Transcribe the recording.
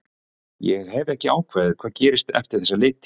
Ég hef ekki ákveðið hvað gerist eftir þessa leiktíð.